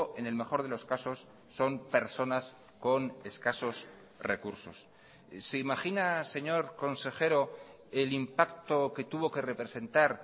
en el mejor de los casos son personas con escasos recursos se imagina señor consejero el impacto que tuvo que representar